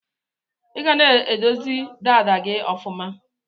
Iga na edozi dada gi ọfuma.